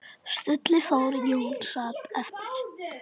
Stulli fór, Jón sat eftir.